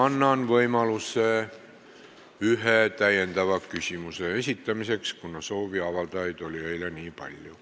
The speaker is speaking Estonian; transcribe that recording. Annan võimaluse ühe täiendava küsimuse esitamiseks, kuna sooviavaldajaid oli eile nii palju.